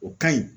O ka ɲi